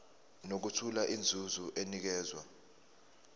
nokuthola inzuzo enikezwa